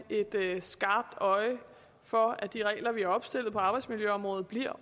et skarpt øje for at de regler vi opstiller på arbejdsmiljøområdet bliver